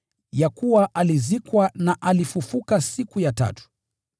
ya kuwa alizikwa na alifufuliwa siku ya tatu, kama yasemavyo Maandiko,